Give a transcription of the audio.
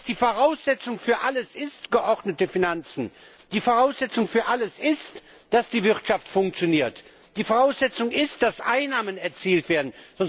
Das heißt, die Voraussetzung für alles sind geordnete Finanzen, die Voraussetzung ist, dass die Wirtschaft funktioniert, die Voraussetzung ist, dass Einnahmen erzielt werden.